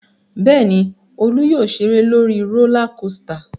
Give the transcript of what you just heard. Bẹ́ẹ̀ ni, Olú yóò ṣeré lórí rólá kosità.